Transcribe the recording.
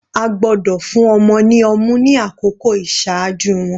A gbọ́dọ̀ fún ọmọ ní ọmú ni àkókò iṣaaju wọn.